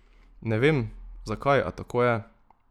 Ne vem, zakaj, a tako je.